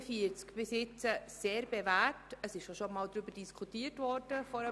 Hingegen könnte ich nicht unterstützen, dass man nun diesen Artikel direkt ändert.